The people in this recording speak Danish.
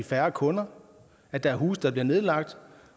færre kunder at der er huse der bliver nedlagt